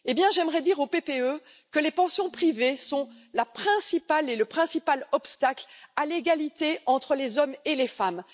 J'aimerais dire au PPE que les pensions privées sont le principal obstacle à l'égalité entre les hommes et les femmes.